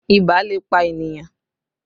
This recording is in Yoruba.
Ibà lè pa ènìyàn